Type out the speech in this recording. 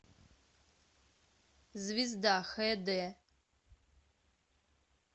звезда хд